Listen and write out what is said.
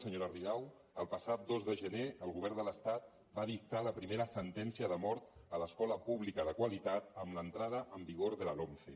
senyora rigau el passat dos de gener el govern de l’estat va dictar la primera sentència de mort a l’escola pública de qualitat amb l’entrada en vigor de la lomce